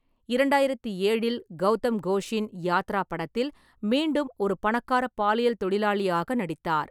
இரண்டாயிரத்தி ஏழில் கவுதம் கோஷின் யாத்ரா படத்தில் மீண்டும் ஒரு பணக்காரப் பாலியல் தொழிலாளியாக நடித்தார்.